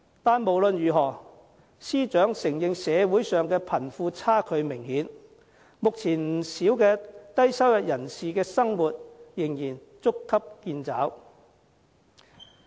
但是，無論如何，司長承認社會上貧富差距明顯，目前不少低收入人士的生活仍然捉襟見肘。